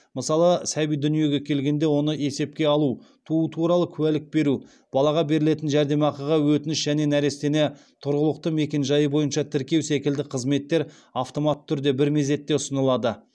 мысалы сәби дүниеге келгенде оны есепке алу туу туралы куәлік беру балаға берілетін жәрдемақыға өтініш және нәрестені тұрғылықты мекенжайы бойынша тіркеу секілді қызметтер автоматты түрде бір мезетте ұсынылады